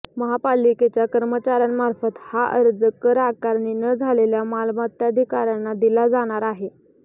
महापालिकेच्या कर्मचाऱ्यांमार्फत हा अर्ज कर आकारणी न झालेल्या मालमत्ताधारकांना दिला जाणार आहे